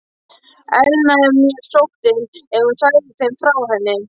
Elnaði mér sóttin, ef hún segði þeim frá henni?